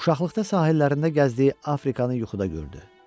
Uşaqlıqda sahillərində gəzdiyi Afrikanı yuxuda gördü.